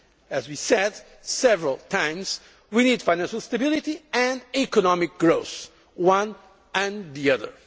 As we said several times, we need financial stability and economic growth the one and the